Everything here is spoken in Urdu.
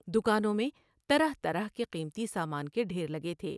دکانوں میں طرح طرح کے قیمتی سامان کے ڈھیر لگے تھے ۔